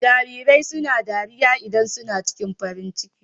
Jarirai suna dariya idan su na ciki farin ciki.